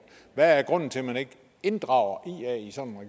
hvad er grunden til at man ikke inddrager